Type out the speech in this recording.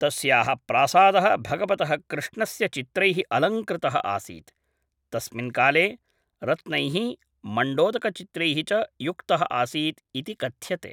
तस्याः प्रासादः भगवतः कृष्णस्य चित्रैः अलङ्कृतः आसीत्, तस्मिन् काले रत्नैः, मण्डोदकचित्रैः च युक्तः आसीत् इति कथ्यते।